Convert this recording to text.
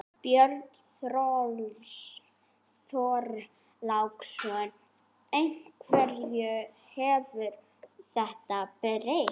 Björn Þorláksson: Hverju hefur þetta breytt?